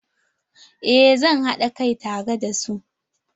Eh zan haɗa kai tare da su.